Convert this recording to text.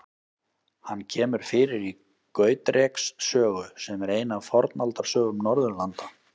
Hann kemur fyrir í Gautreks sögu, sem er ein af Fornaldarsögum Norðurlanda.